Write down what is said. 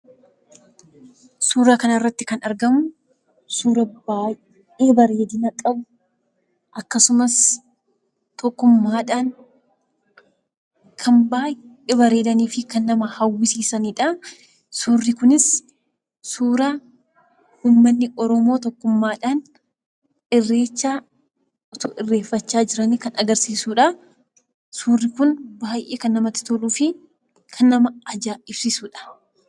Suuraa kanarratti kan argamu suuraa baay'ee bareedu akkasumas tokkummaadhaan kan baay'ee bareedanii fi kan baay'ee bareedanii fi kan nama hawwisiisanidha. suurri kunis suuraa uummanni oromoo tokkummaadhaan irreecha irreeffachaa jiran suurri kun kan baay'ee namatti toluu fi kan nama ajaa'ibsiisudha.